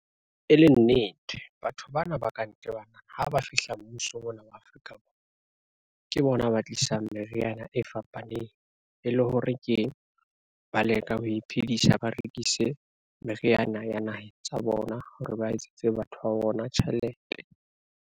E le nnete, batho bana ba ka ntle bana ha ba fihla mmusong mona Afrika Borwa, ke bona ba tlisang meriana e fapaneng e le hore ke, ba leka ho iphedisa ba rekise meriana ya naheng tsa bona hore ba etsetse batho ba bona tjhelete.